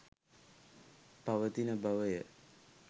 පවතින බවය.